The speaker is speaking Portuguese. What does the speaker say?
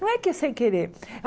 Não é que é sem querer. A